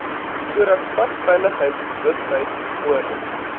sodat padveiligheidsbewustheid bevorder